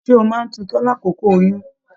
Ṣe o máa n tutọ l'akoko oyún?